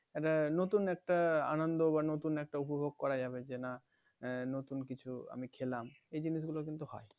একটা নতুন একটা আনন্দ বা নতুন একটা উপভোগ করা যাবে যে না নতুন কিছু আমি খেলাম এই জিনিসগুলো হয়